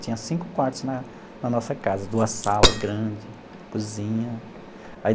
Tinha cinco quartos na na nossa casa, duas salas grandes, cozinha aí.